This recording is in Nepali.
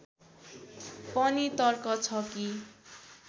पनि तर्क छ कि